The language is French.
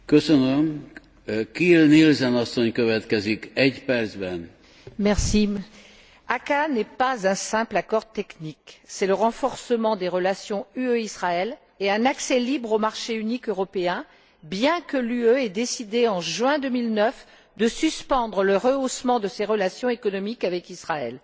Monsieur le Président, l'ACAA n'est pas un simple accord technique. C'est le renforcement des relations UE Israël et un accès libre au marché unique européen bien que l'UE ait décidé, en juin 2009, de suspendre le rehaussement de ses relations économiques avec Israël.